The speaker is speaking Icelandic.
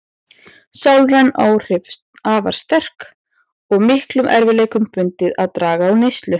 Sálræn áhrif afar sterk og miklum erfiðleikum bundið að draga úr neyslu.